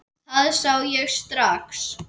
Það sá ég strax.